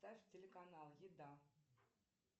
телеканал еда